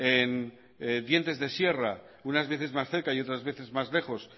en dientes de sierra unas veces más cerca y otras veces más lejos